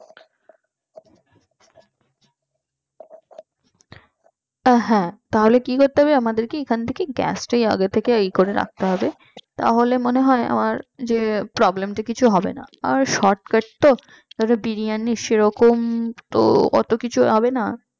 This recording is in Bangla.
হ্যাঁ তাহলে কি করতে হবে আমাদেরকে এখান থেকে আগে গ্যাস টাকে ইয়ে করে রাখতে হবে তাহলে মনে হয় আমার যে problem টা কিছু হবে না আর shortcut তো ধরো বিরিয়ানি সেরকম তো অত কিছু হবেনা